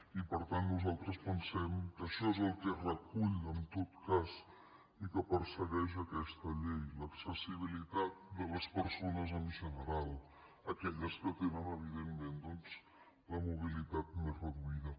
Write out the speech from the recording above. i per tant nosaltres pensem que això és el que recull en tot cas i el que persegueix aquesta llei l’accessibilitat de les persones en general aquelles que tenen evidentment doncs la mobilitat més reduïda